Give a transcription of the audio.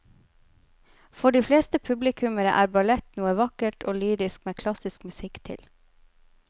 For de fleste publikummere er ballett noe vakkert og lyrisk med klassisk musikk til.